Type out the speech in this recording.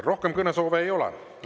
Rohkem kõnesoove ei ole.